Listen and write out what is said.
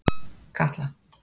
Katla